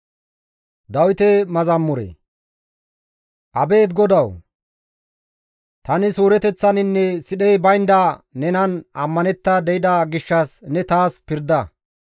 Abeet GODAWU! Tani suureteththaninne sidhey baynda nenan ammanetta de7ida gishshas ne taas pirda.